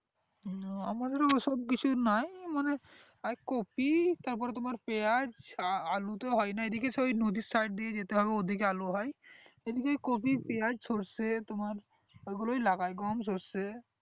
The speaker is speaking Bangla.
ও আমাদের ও ঐসব কিছু নাই মানে ওই কপি তারপরে তোমার পেঁয়াজ আলু তো হয়না এইদিকে সেই ওই নদীর side দিয়ে যেতে হবে ঐদিকে আলু হয় এদিকে কপি পেঁয়াজ সর্ষে তোমার এগুলোই লাগাই গম সর্ষে